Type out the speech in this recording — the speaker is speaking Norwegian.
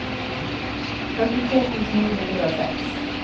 førtifire tusen ni hundre og seks